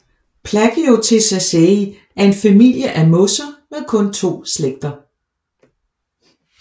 Plagiotheciaceae er en familie af mosser med kun to slægter